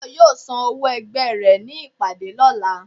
Tayo yóò sán òwó ẹgbẹ re ní ìpàdé lolà